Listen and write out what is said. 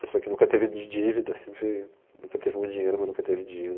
Pessoa que nunca teve di dívidas, sempre... Foi, nunca teve muito dinheiro, mas nunca teve dívidas.